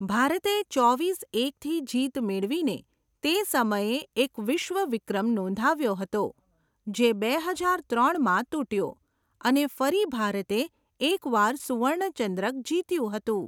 ભારતે ચોવીસ એકથી જીત મેળવીને તે સમયે એક વિશ્વ વિક્રમ નોંધાવ્યો હતો, જે બે હજાર ત્રણમાં તૂટ્યો અને ફરી ભારતે એક વાર સુવર્ણ ચંદ્રક જીત્યું હતું.